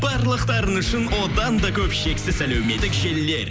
барлықтарыңыз үшін одан да көп шексіз әлеуметтік желілер